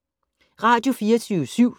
Radio24syv